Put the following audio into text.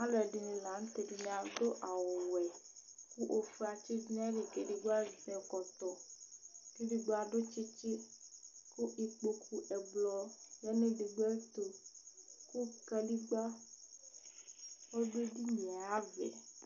Alʋɛdìní la ntɛ Ɛdiní adu awu wɛ kʋ ɔfʋe atsi du nʋ ayìlí kʋ ɛdigbo azɛ ɛkɔtɔ kʋ ɛdigbo adu tsitsi kʋ ikpoku ɛblɔ ɔdu ɛdigbo tu kʋ kaligba ɔdu ɛdiní ye ayʋ ava yɛ